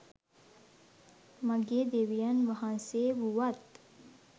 මගේ දෙවියන් වහන්සේ වුවත්,